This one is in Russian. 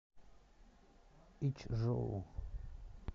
ичжоу